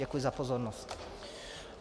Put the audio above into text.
Děkuji za pozornost.